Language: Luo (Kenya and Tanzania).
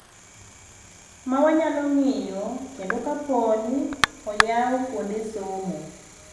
Mawanyalo ng'iyo kendo kapooni oyaw kuonde somo.